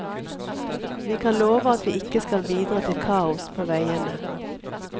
Vi kan love at vi ikke skal bidra til kaos på veiene.